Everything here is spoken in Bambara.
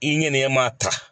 I ɲɛnɛma ta